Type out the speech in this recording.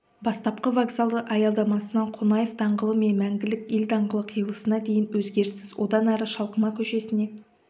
бастапқы вокзалы аялдамасынан қонаев даңғылымен мәңгілік ел даңғылы қиылысына дейін өзгеріссіз одан әрі шалқыма көшесіне